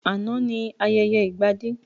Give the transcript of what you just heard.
Àná ni ayẹyẹ ìgbadé